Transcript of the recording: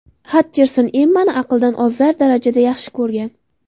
Xatcherson Emmani aqldan ozar darajada yaxshi ko‘rgan.